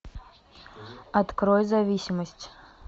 открой зависимость